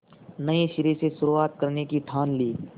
नए सिरे से शुरुआत करने की ठान ली